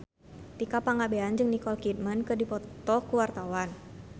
Tika Pangabean jeung Nicole Kidman keur dipoto ku wartawan